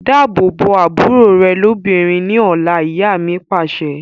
Dáàbò bo àbúrò rẹ lóbìnrin ni ọ̀la, ìyá mi Pàṣẹ.